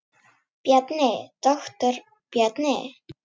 Bjarni, doktor Bjarni.